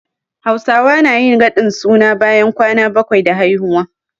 Hausawa nayin radin suna bayan kwana bakwai da haihuwa